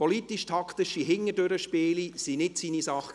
Politisch-taktische «Hintendurch-Spiele» waren nicht seine Sache.